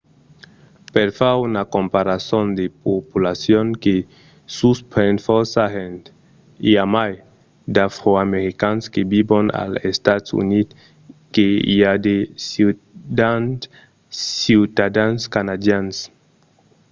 per far una comparason de populacion que suspren fòrça gents: i a mai d’afroamericans que vivon als estats units que i a de ciutadans canadians